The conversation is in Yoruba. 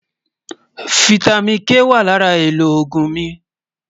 fìtámín K wà lárà èlò ògún mí